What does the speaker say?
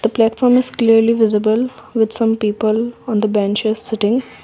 the platform is clearly visible with some people on the benches sitting.